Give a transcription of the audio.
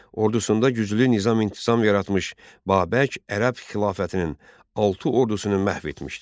Ordusunda güclü nizam-intizam yaratmış Babək ərəb xilafətinin altı ordusunu məhv etmişdi.